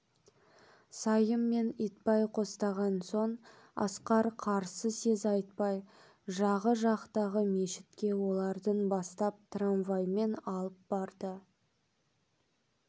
сайым мен итбай қостаған соң асқар қарсы сез айтпай жағы жақтағы мешітке оларды бастап трамваймен алып барды